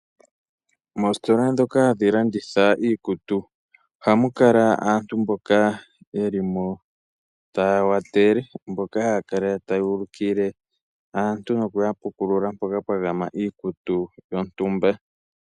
Moositola dhoka hadhi landitha iikutu oha mu kala aantu mboka yeli mo taa watele. Mboka haya kala tayu ulukile aantu noku yapukulula mboka mpwagama iikutu yontumba.